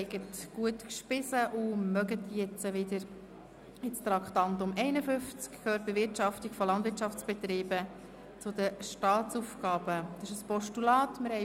Ich hoffe, Sie haben gut gegessen und haben jetzt wieder genügend Energie für die Fortsetzung des Traktandums 51.